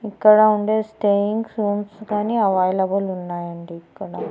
ఇక్కడ ఉండే stayings rooms కానీ అవైలబుల్ ఉన్నాయండి ఇక్కడ.